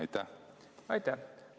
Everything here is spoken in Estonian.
Aitäh!